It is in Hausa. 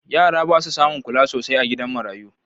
Yara ba su samun kula sosai a gidan marayu